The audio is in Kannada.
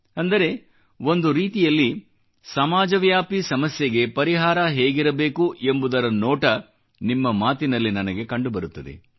ಅಂದರೆ ಒಂದು ರೀತಿಯಲ್ಲಿ ಸಮಾಜವ್ಯಾಪಿ ಸಮಸ್ಯೆಗೆ ಪರಿಹಾರ ಹೇಗಿರಬೇಕು ಎಂಬುದರ ನೋಟ ನಿಮ್ಮ ಮಾತಿನಲ್ಲಿ ನನಗೆ ಕಂಡುಬರುತ್ತದೆ